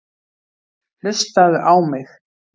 Hlustaðu á mig!